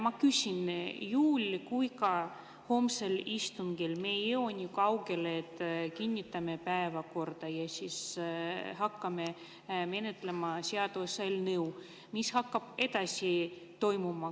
Ma küsin, et juhul kui ka homsel istungil me ei jõua nii kaugele, et kinnitame päevakorra ja hakkame menetlema seaduseelnõu, mis hakkab siis edasi toimuma.